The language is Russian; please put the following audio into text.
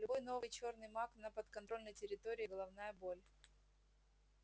любой новый чёрный маг на подконтрольной территории головная боль